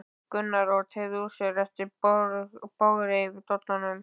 Gunnar og teygði úr sér eftir bogrið yfir dollunum.